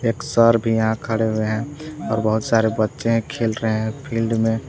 एक सर भी यहां खड़े हुए हैं और बहुत सारे बच्चे खेल रहे हैं फील्ड में।